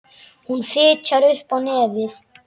Hún fitjar upp á nefið.